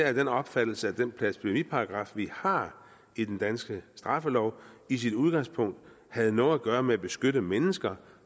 af den opfattelse at den blasfemiparagraf vi har i den danske straffelov i sit udgangspunkt havde noget at gøre med at beskytte mennesker